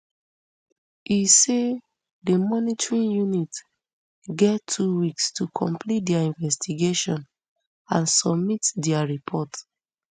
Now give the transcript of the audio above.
e say di monitoring unit get two weeks to complete dia investigation and submit dia report